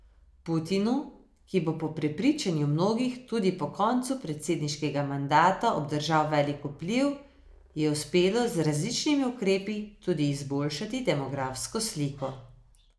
Putinu, ki bo po prepričanju mnogih tudi po koncu predsedniškega mandata obdržal velik vpliv, je uspelo z različnimi ukrepi tudi izboljšati demografsko sliko.